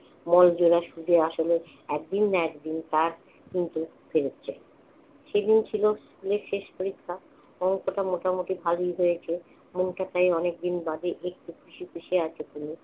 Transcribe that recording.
মূল দেনা সুদে-আসলে একদিন না একদিন তার কিন্তু ফিরেছে। সেদিন ছিল স্কুলের শেষ পরীক্ষা, অঙ্কটা মোটামুটি ভালোই হয়েছে। মনটা তাই অনেকদিন বাদে একটু খুশি খুশি আছে তনুর।